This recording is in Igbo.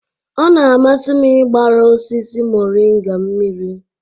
Ọ na-amasị m ịgbara osisi moringa mmiri.